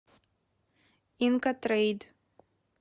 инкотрейд